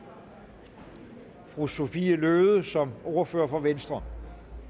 fru sophie løhde som ordfører for venstre